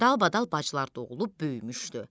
Dalbadal bacılar doğulub böyümüşdü.